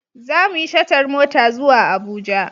Za mu yi shatar mota zuwa Abuja.